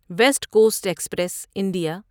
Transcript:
waste coast express India